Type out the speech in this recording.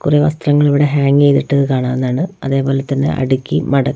കുറേ വസ്ത്രങ്ങൾ ഇവിടെ ഹാങ് ചെയ്തിട്ടത് കാണാവുന്നതാണ് അതേ പോലെ തന്നെ അടുക്കി മട--